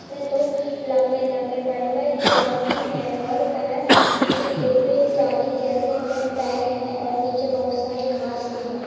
इसमें दो लंबे-लंबे बड़े-बड़े जिराफ भी हैं और वह किसी डिब्बे जाली जैसे में पैक है और नीचे बहुत सारी घास भी है।